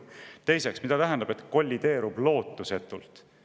Teiseks, mida tähendab, et kollideerub lootusetult?